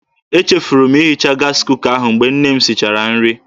Echefuru m ihicha gaasị kuka ahụ mgbe nne m sichara nri.